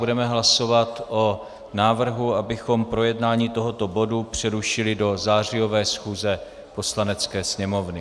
Budeme hlasovat o návrhu, abychom projednání tohoto bodu přerušili do zářijové schůze Poslanecké sněmovny.